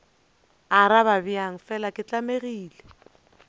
arabe bjang fela ke tlamegile